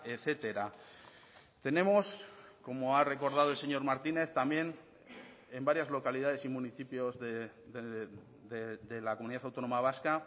etcétera tenemos como ha recordado el señor martínez también en varias localidades y municipios de la comunidad autónoma vasca